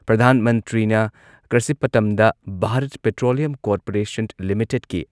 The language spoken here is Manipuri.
ꯄ꯭ꯔꯙꯥꯟ ꯃꯟꯇ꯭ꯔꯤꯅ ꯀ꯭ꯔꯁꯤꯄꯇꯝꯗ ꯚꯥꯔꯠ ꯄꯦꯇ꯭ꯔꯣꯂꯤꯌꯝ ꯀꯣꯔꯄꯣꯔꯦꯁꯟ ꯂꯤꯃꯤꯇꯦꯗꯀꯤ